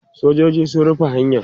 sojoji sun rufe hanyan